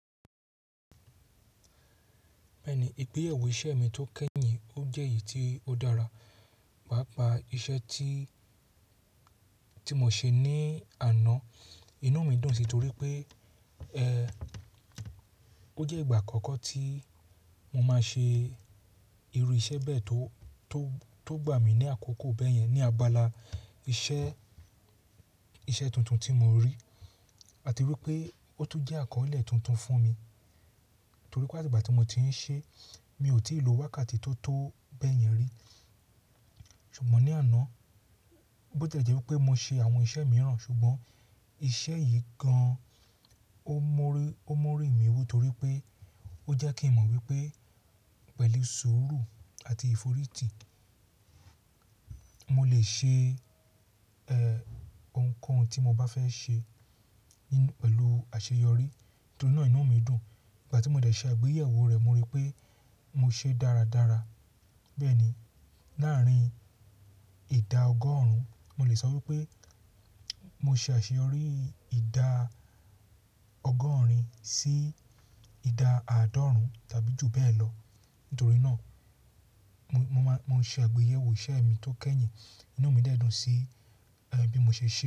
Bẹ́ẹ̀ni, ìgbéyàwó iṣẹ́ mi tó kẹ́ye, ó jẹ́ èyí tí ó dára, pàápàá iṣẹ́ tí, tí mo ṣe ní àná inú mi dùn sí torí pé, ẹ́, ó jẹ́ ìgbà àkọ́kọ́ tí mo máa ṣe irú iṣẹ́ bẹ́ẹ̀ tó, tó gbà mí ní àkókò bẹ́yẹn. Ni abala iṣẹ́, iṣẹ́ tuntun tí mo rí, àti wípé ó tún jẹ́ àkọ́ọ́lẹ̀ tuntun fún mi, torí pé àti ìgbà tí mo ti ń ṣe, mi ò tí ì lo wákàtí tó tó bẹ́yẹn rí. Ṣùgbọ́n ní àná, bió tiẹ̀ jẹ́ wípé mo ṣe àwọn iṣẹ́ mìíràn ṣùgbọ́n, iṣẹ́ yìí gan-an ó mú rí mi wú, torí pé ó jẹ́ kí n mọ̀ wípé pẹ̀lú sùúrù àti ìforítì mo lè ṣe, ẹ́, ohunkóhun tí mo bá fẹ́ ṣe pẹ̀lú àṣeyọrí. Nítorí náà inú mi dùn. Ìgbà tí mo dẹ̀ ṣẹ́ àgbéyẹ̀wò rẹ̀, mo rí pé mo ṣe dáradára. Bẹ́ẹ̀ ni, láàárín ìda ọgọ́rùn-ún, mo lè sọ wípé mo ṣe àṣeyọrí ìda ọgọ́rin sí ìda àádọ́rùn-ún tàbí jù bẹ́ẹ̀ lọ. Nítorí náà, mo ṣe àgbéyẹ̀wò iṣẹ́ mi tó kẹ́yìn, inú mi dẹ́dùn sí, bí mo ṣe ṣe.